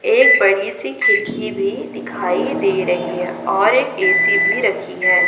एक बड़ी सी खिड़की भी दिखाई दे रही हैं और एक ए_सी भी रखी हैं।